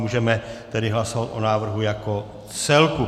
Můžeme tedy hlasovat o návrhu jako celku.